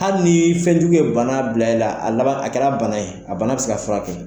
Hali ni fɛnjugu ye bana bila i la a laban a kɛra bana ye a bana bɛ se ka furakɛ.